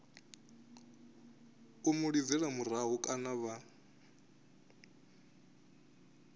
mu lidzela murahu kana vha